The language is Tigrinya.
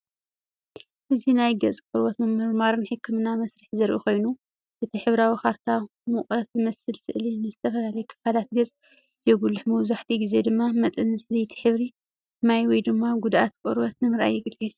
እዚ ናይ ገፅ ቆርበት ምምርማርን ሕክምናን መስርሕ ዘርኢ ኮይኑ ።እቲ ሕብራዊ ካርታ ሙቐት ዝመስል ስእሊ ንዝተፈላለየ ኽፋላት ገፅ የጉልሕ መብዛሕትኡ ግዜ ድማ መጠን ዘይቲ ሕብሪ ማይ ወይ ጕድኣት ቈርበት ንምርኣይ የገልግል።